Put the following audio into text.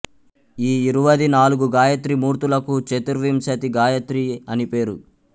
ఈ యిరువది నాలుగు గాయత్రీ మూర్తులకు చతుర్వింశతి గాయత్రీ అనిపేరు